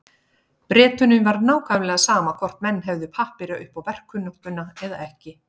Bretunum var nákvæmlega sama hvort menn hefðu pappíra upp á verkkunnáttuna eða ekki.